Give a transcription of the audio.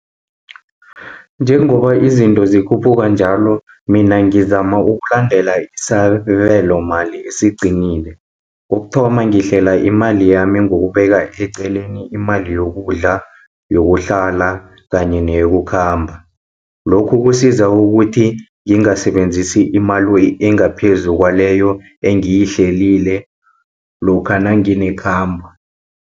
Njengoba izinto zikhuphuka njalo, mina ngizama ukulandela isabelomali esiqinile. Kokuthoma ngihlela imali yami ngokubeka eceleni imali yokudla, yokuhlala kanye neyokukhamba. Lokhu kusiza ukuthi ngingasebenzisi imali engaphezu kwaleyo engiyihlelile lokha nanginekhambo.